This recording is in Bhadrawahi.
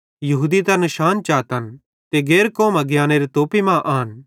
यहूदी त निशान चातन ते गैर कौमां ज्ञानेरे तोपी मां आन